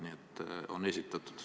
Nii et on esitatud.